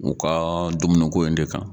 U ka dumuni ko in de kan